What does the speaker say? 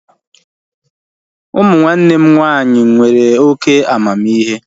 Ụmụ nwanne m nwaanyị nwere oké amamihe